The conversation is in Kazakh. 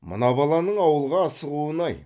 мына баланың ауылға асығуын ай